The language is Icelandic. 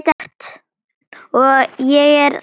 Og ég er það enn